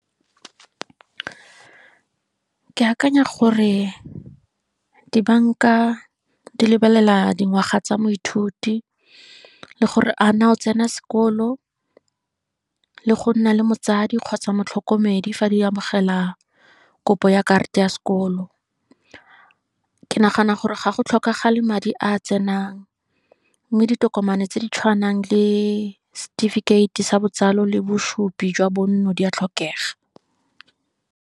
Ke akanya gore dibanka di lebelela dingwaga tsa moithuti, le gore a naa o tsena sekolo, le go nna le motsadi kgotsa motlhokomedi fa di amogela kopo ya karata ya sekolo. Ke nagana gore ga go tlhokagale madi a tsenang, mme ditokomane tse di tshwanang le setefikeiti sa botsalo, le bosupi jwa bonno, di a tlhokega.